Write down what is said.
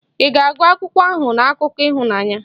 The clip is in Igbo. Ị ga-agụ akwụkwọ ahụ na akụkọ ịhụnanya?.